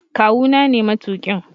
Kawu na ne matuƙin.